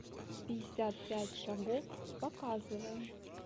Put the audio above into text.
пятьдесят пять шагов показывай